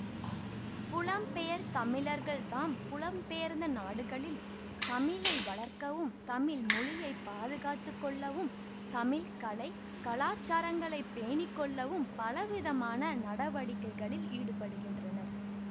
புலம்பெயர் தமிழர்கள் தாம் புலம்பெயர்ந்த நாடுகளில் தமிழை வளர்க்கவும் தமிழ் மொழியை பாதுகாத்து கொள்ளவும் தமிழ் கலை கலாசாரங்களைப் பேணி கொள்ளவும் பலவிதமான நடவடிக்கைகளில் ஈடுபடுகின்றனர்